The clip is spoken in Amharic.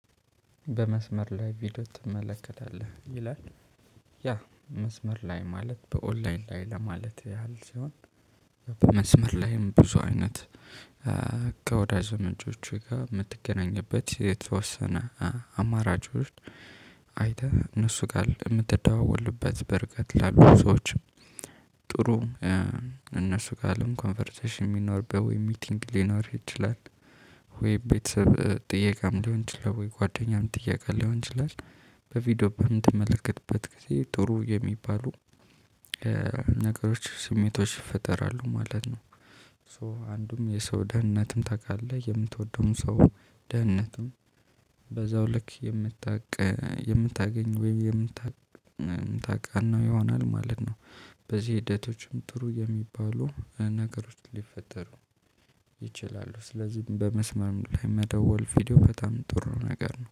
በመስመር ላይ ቪዲዮ ትመለከታለህ ይላል ያ መስመር ላይ ማለት በኦንላይን ላይ ለማለት ያህል ሲሆን። በመስመር ላይም ብዙ አይነት ከወዳጅ ዘመዶችህ ጋር የምትገናኝበት የተወሰነ አማራጮች። አይተህ እነሱ ጋር የምትደዋወልበት በርቀት ላሉ ሰዎች። ጥሩ እነሱ ጋርም ኮንቨርሴሽን የሚኖርበት ወይ ሚቲንግ ሊኖር ይችላል። ወይ ቤተሰብ ጥየቃም ሊሆን ይችላል። ወይ ጓደኛም ጥየቃ ሊሆን ይችላል። በቪዲዮ በምትመለከትበት ጊዜ ጥሩ የሚባሉ ነገሮች ስሜቶች ይፈጠራሉ ማለት ነው። ሶ አንዱም የሰው ደህንነትም ታውቃለህ የምትወደውን ሰው ደህንነትም በዛው ልክ የምታቅ የምታገኝ ወይም የምታቅ ይሆናል ማለት ነው። በዚህ ሂደቶችም ጥሩ የሚባሉ ነገሮች ሊፈጠሩ ይችላሉ። ስለዚህ በመስመር ላይ መደወል ቪዲዮ በጣም ጥሩ ነገር ነው